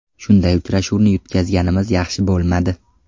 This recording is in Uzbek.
Shunday uchrashuvni yutqazganimiz yaxshi bo‘lmadi.